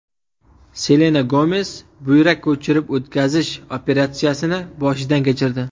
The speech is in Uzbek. Selena Gomes buyrak ko‘chirib o‘tkazish operatsiyasini boshidan kechirdi.